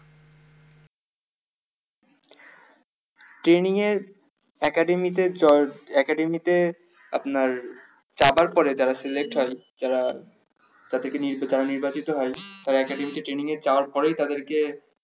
training এর academy আপনার যাবার পরে যারা select হয় যারা যাদেরকে নিয়োগ দেবে এইবার যেটা হয় তারা academy training যাওয়ার পরেই তাদেরকে